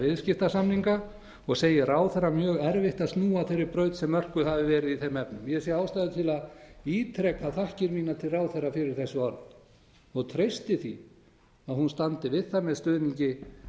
viðskiptasamninga og segi ráðherra mjög erfitt að snúa af þeirri braut sem mörkuð hafi verið í þeim efnum ég sé ástæðu til að ítreka þakkir mínar til ráðherra fyrir þessi orð og treysti því að hún standi við það með stuðningi